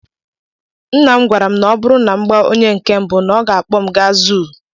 Nna m gwara m na ọ bụrụ na mụ agbaa onye nke mbụ, ọ ga akpọ m gaa zuu.